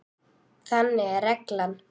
Þannig er reglan.